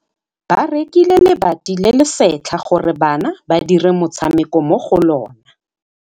Ba rekile lebati le le setlha gore bana ba dire motshameko mo go lona.